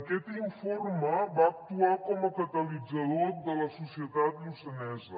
aquest informe va actuar com a catalitzador de la societat lluçanesa